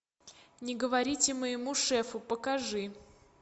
не говорите моему шефу покажи